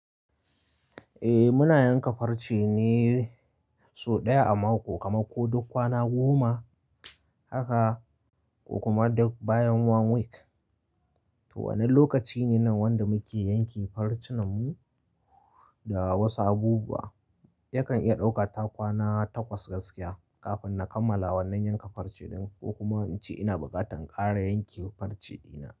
Eh muna yanka farce ne sau ɗaya a mako, kama ko duk kwana goma haka ko kuma duk bayan one week. To, wannan lokaci ne wanda muke yanke farcenmu da wasu abubuwa. Yakan iya ɗauka kwana takwas gaskiya kafin na kammala wannan yanka farce ɗin ko kuma in ce ina bukatan ƙara yanke farce ɗina.